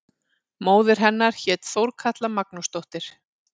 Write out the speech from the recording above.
Móðir hennar hét Þorkatla Magnúsdóttir.